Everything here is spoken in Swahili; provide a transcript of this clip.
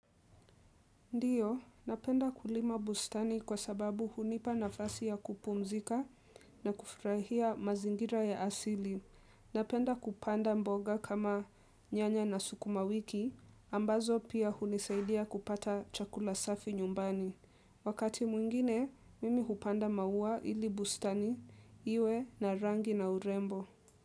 Ndiyo, napenda kulima bustani kwa sababu hunipa nafasi ya kupumzika na kufurahia mazingira ya asili. Napenda kupanda mboga kama nyanya na sukumawiki, ambazo pia hunisaidia kupata chakula safi nyumbani. Wakati mwingine, mimi hupanda maua ili bustani, iwe na rangi na urembo.